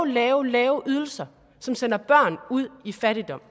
lave lave ydelser som sender børn ud i fattigdom